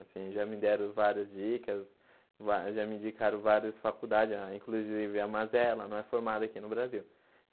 Assim, já me deram várias dicas, vá já me indicaram várias faculdades, inclusive a Mazela, não é formada aqui no Brasil.